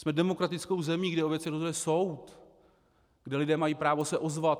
Jsme demokratickou zemí, kde o věcech rozhoduje soud, kde lidé mají právo se ozvat.